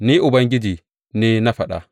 Ni Ubangiji ne na faɗa.